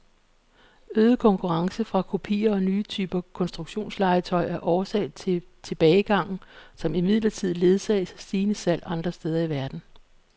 Øget konkurrence fra kopier og nye typer konstruktionslegetøj er årsag til tilbagegangen, som imidlertid ledsages af stigende salg andre steder i verden.